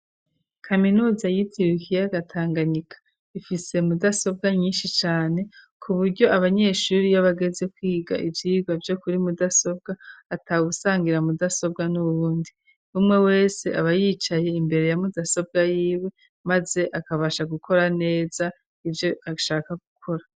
Kaminuza y'itiriwe ikiyaga Tanganyika ,ifise mudasobwa nyinshi cane ,ku buryo Abanyeshuri iyo bageze kwiga ivyirwa vyo kuri mudasobwa ,atagusangira mudasobwa n'uwundi ,umwe wese aba yicaye imbere ya mudasobwa y'iwe, maze akabashaka gukora neza, ivyo ashaka gukora.